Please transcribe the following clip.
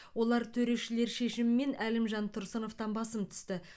олар төрешілер шешімімен әлімжан тұрсыновтан басым түсті